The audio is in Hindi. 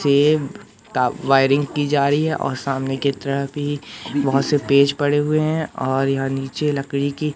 सेव ता वायरिंग की जा रही है और सामने की तरह भी बहोत से पेज पड़े हुए है और यहां नीचे लकड़ी की--